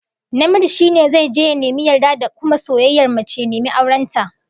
Namiji shi ne zai je ya nemi yarda da kuma soyayyar mace, ya nemi auren ta